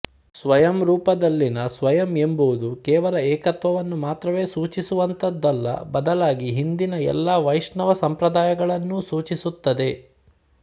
ಸ್ವಯಂರೂಪ ದಲ್ಲಿನ ಸ್ವಯಂ ಎಂಬುದು ಕೇವಲ ಏಕತ್ವವನ್ನು ಮಾತ್ರವೇ ಸೂಚಿಸುವಂತದ್ದಲ್ಲ ಬದಲಾಗಿ ಹಿಂದಿನ ಎಲ್ಲಾ ವೈಷ್ಣವ ಸಂಪ್ರದಾಯಗಳನ್ನೂ ಸೂಚಿಸುತ್ತದೆ